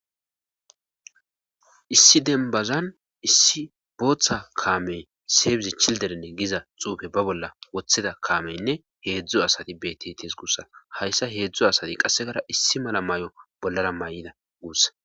issi denbazan issi booththa kaamey seeybizi childerenne giza xuufe ba bolla woththeda kaameynne heedzdzu asati bettetes guussa hayssa heedzdzo asati qassegara issi mala mayo bollara mayida guussa